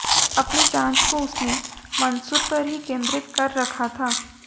अपनी जाँच को उसने मंसूर पर ही केंद्रित कर रखा था